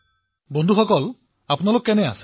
প্ৰধানমন্ত্ৰীঃ বন্ধুসকল আপোনালোকে কেনে আছে